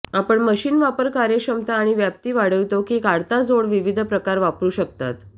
आपण मशीन वापर कार्यक्षमता आणि व्याप्ती वाढवितो की काढता जोड विविध प्रकार वापरू शकतात